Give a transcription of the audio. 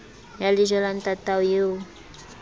ya lejwe la ntatao eo